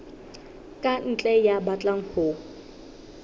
ka ntle ya batlang ho